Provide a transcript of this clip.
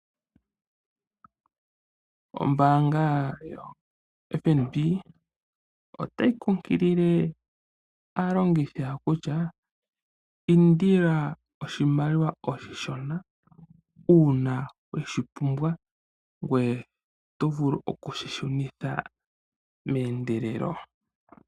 Ombaanga yoFNB otayi kungilile aalongithi yawo kutya indila oshishona uuna weshi pumbwa, shoka ngweye tovulu okushi shunitha meendelelo.